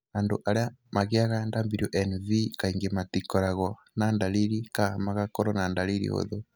Andũ arĩa mangĩaga WNV kaingĩ matikoragwo na dariri ka magakoro na dariri hũthũ.